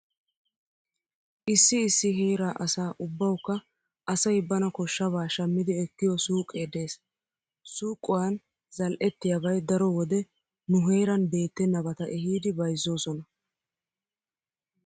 Issi issi heera asa ubbawukka asay bana koshshabaa shammi ekkiyo suuqee dees. Suuqiuan zal"ettiyabay daro wode nu heeran beettennabata ehidi bayzzoosona.